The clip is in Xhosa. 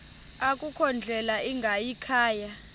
akukho ndlela ingayikhaya